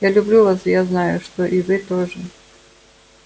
я люблю вас и я знаю что и вы тоже